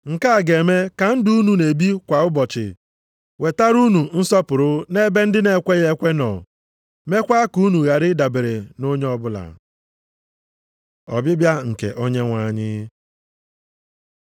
nke a ga-eme ka ndụ unu na-ebi kwa ụbọchị wetara unu nsọpụrụ nʼebe ndị na-ekweghị ekwe nọ, meekwa ka unu ghara i dabere nʼonye ọbụla. Ọbịbịa nke Onyenwe anyị